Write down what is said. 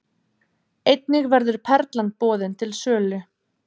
Einnig verður Perlan boðin til sölu